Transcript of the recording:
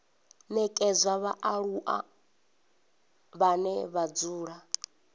nekedzwa vhaaluwa vhane vha dzula